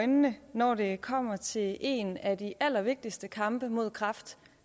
øjnene når det kommer til en af de allervigtigste kampe mod kræft